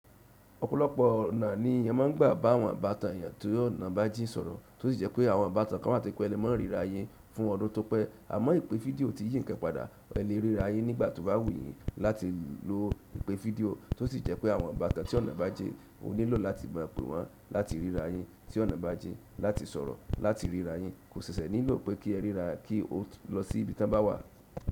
Ọ̀pọ̀lọpọ̀ ọ̀nà ni ẹ máà ń gbà bá àwọn ibàtàn èèyàn tó ọ̀nà bá jín sọ̀rọ̀, tó sì jẹ́ pé àwọn ibàtàn kan wá tó jẹ́ pẹ́ ẹ lè má ríra yín fún ọdún tọ́pẹ́. Àmọ́ ìpè fídíò tí yí ǹkan padà, ẹ lè rí ra yín nígbà tí o bá wù yín láti lò ìpè fídíò, tó sì jẹ́ wípé àwọn ibaatan tí ọ̀nà bajin o nílò láti pè wọn, láti rí rayin tí ọ̀nà bá jìn láti sọ̀rọ̀ láti rí rayin. Kò ṣẹ̀ṣẹ̀ nílò pé kí ẹ ríra kí o lọ sí ibi tí wọ́n bá wà.